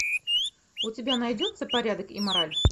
у тебя найдется порядок и мораль